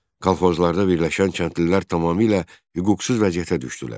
Kolxozlarda birləşən kəndlilər tamamilə hüquqsuz vəziyyətə düşdülər.